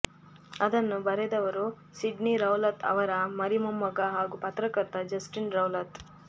ಅದನ್ನು ಬರೆದವರು Sydney Rowlatt ಅವರ ಮರಿಮೊಮ್ಮಗ ಹಾಗೂ ಪತ್ರಕರ್ತ ಜಸ್ಟಿನ್ ರೌಲತ್